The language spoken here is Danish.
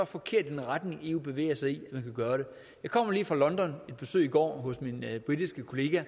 forkert i den retning eu bevæger sig jeg kommer lige fra london på besøg i går hos min britiske kollega og